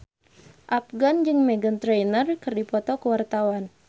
Afgan jeung Meghan Trainor keur dipoto ku wartawan